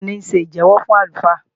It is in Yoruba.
Bẹ́ẹ̀ni, ó ń ṣe ìjẹ́wọ́ fún àlùfáà